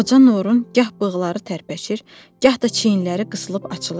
Qoca Nurun gah bığları tərpəşir, gah da çiyinləri qısılıb açılırdı.